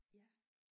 Ja